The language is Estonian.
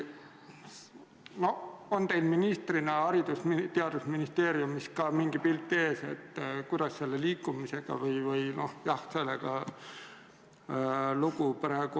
On teil ministrina Haridus- ja Teadusministeeriumis mingi pilt ees, kuidas selle liikumisega praegu lood on?